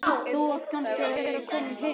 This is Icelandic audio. Þú átt kannski að vera kominn heim núna.